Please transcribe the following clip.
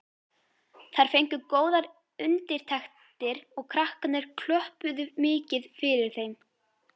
Þær fengu góðar undirtektir og krakkarnir klöppuðu mikið fyrir þeim.